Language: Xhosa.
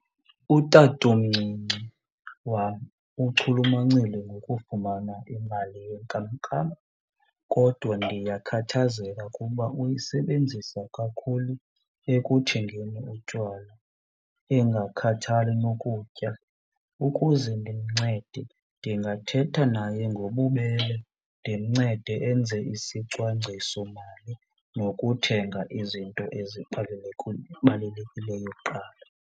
Utatomncinci wam uchulumancile ngokufumana imali yenkamnkam kodwa ndiyakhathazeka kuba uyisebenzisa kakhulu ekuthengeni utywala engakhathali nokutya. Ukuze ndimncede, ndingathetha naye ngobubele ndimncede enze isicwangcisomali nokuthenga izinto kuqala.